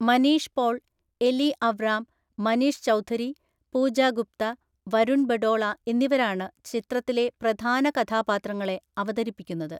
Manish Paul, Eli Avram, Manish Chaudhary, Pooja Gupta, Varun Badola എന്നിവരാണ് ചിത്രത്തിലെ പ്രധാന കഥാപാത്രങ്ങളെ അവതരിപ്പിക്കുന്നത്.